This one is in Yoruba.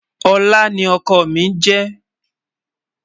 olá ní ókó mí je